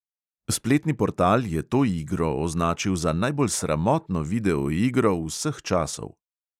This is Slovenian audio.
Spletni portal je to igro označil za najbolj sramotno videoigro vseh časov.